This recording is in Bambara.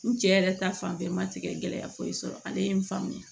N cɛ yɛrɛ ta fanfɛ ma tigɛ gɛlɛya foyi sɔrɔ ale ye n faamuya